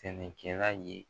Sɛnɛkɛla ye